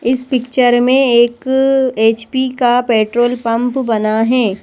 इस पिक्चर में एक एच_पी का पेट्रोल पंप है।